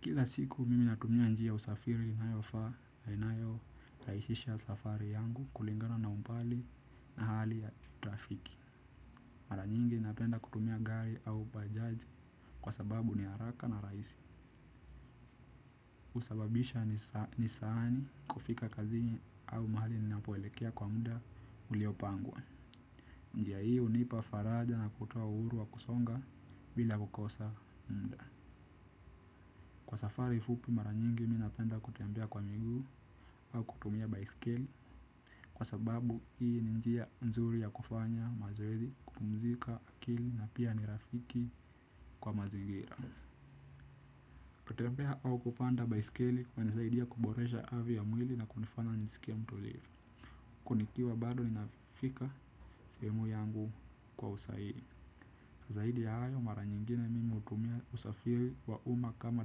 Kila siku mimi natumia njia usafiri i inayo inayo rahisisha safari yangu kulingana na umbali na hali ya trafiki. Mara nyingi napenda kutumia gari au bajaji kwa sababu ni haraka na rahisi. Husababisha ni saani kufika kazini au mahali ninapoelekea kwa muda uliopangwa. Njia hii hunipa faraja na kutoa uhuru wa kusonga bila kukosa muda. Kwa safari fupi mara nyingi mimi napenda kutembea kwa miguu au kutumia baisikeli kwa sababu hii ni njia nzuri ya kufanya mazoezi kupumzika akili na pia ni rafiki kwa mazigira. Kutembea au kupanda baisikeli hunisaidia kuboresha afya ya mwili na kunifana njisikie mtulivu. Kunikiwa bado ninafika sehemu yangu kwa usahihi. Zaidi hayo mara nyingine mimi hutumia usafiri wa uma kama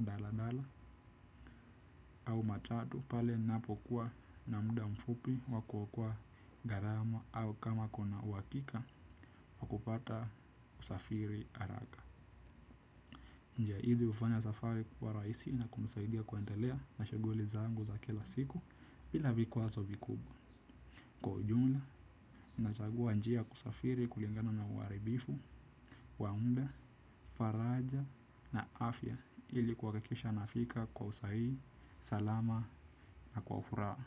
daladala au matatu pale ninapokuwa na muda mfupi wa kuokoa gharama au kama kuna uwakika wa kupata usafiri haraka. Njia hizi hufanya safari kwa rahisi na kunisaidia kuendelea na shughuli zangu za kila siku bila vikwazo vikubwa. Kwa jumla nachagua njia ya usafiri kulingana na uharibifu wa muda faraja na afya ili kuhakikisha nafika kwa sahihi salama na kwa furaha.